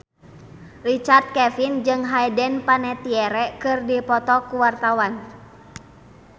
Richard Kevin jeung Hayden Panettiere keur dipoto ku wartawan